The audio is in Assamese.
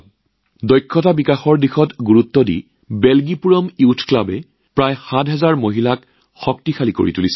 দক্ষতা বিকাশৰ ওপৰত গুৰুত্ব আৰোপ কৰি বেলজীপুৰম যুৱ ক্লাবই প্ৰায় ৭০০০ মহিলাক সবলীকৰণ কৰিছে